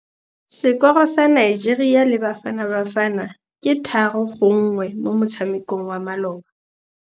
Sekôrô sa Nigeria le Bafanabafana ke 3-1 mo motshamekong wa malôba.